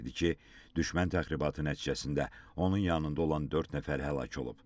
düşmən təxribatı nəticəsində onun yanında olan dörd nəfər həlak olub.